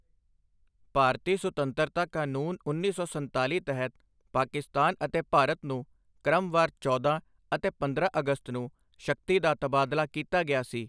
ਭਾਰਤੀ ਸੁਤੰਤਰਤਾ ਕਾਨੂੰਨ ਉੱਨੀ ਸੌ ਸੰਤਾਲੀ ਤਹਿਤ ਪਾਕਿਸਤਾਨ ਅਤੇ ਭਾਰਤ ਨੂੰ ਕ੍ਰਮਵਾਰ ਚੌਦਾਂ ਅਤੇ ਪੰਦਰਾਂ ਅਗਸਤ ਨੂੰ ਸ਼ਕਤੀ ਦਾ ਤਬਾਦਲਾ ਕੀਤਾ ਗਿਆ ਸੀ।